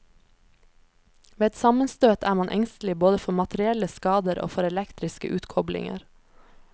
Ved et sammenstøt er man engstelig både for materielle skader og for elektriske utkoblinger.